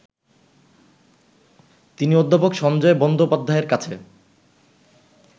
তিনি অধ্যাপক সঞ্জয় বন্দোপাধ্যায়ের কাছে